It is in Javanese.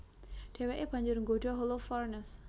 Dhèwèké banjur nggodha Holofernes